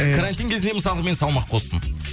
і карантин кезінде мысалға мен салмақ қостым